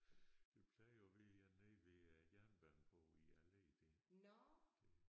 Der plejer at være en nede ved øh jernbanen på alleen der